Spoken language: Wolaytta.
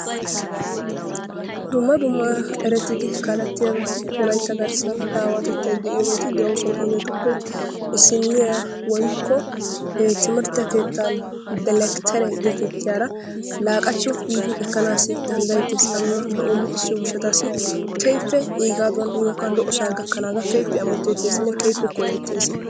Dumma dumma erettidi kallettiyaa aawati wolaytta garssaan aawattetay de'iyoogeti de"oosona. Hegeetuppe issiniyaa woykko timirtte keettaa delekteere getettiyaara laaqachcho giidi eekkana dandayeetees. Aa nuuna lo"o keehippe luxxisiyoo giishshawu lo"osaa gaakanaagaa keehippe amotetteesinne keehippe koyettees.